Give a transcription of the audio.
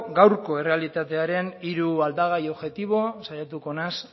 gaurko errealitatearen hiru aldagai objektibo saiatuko naiz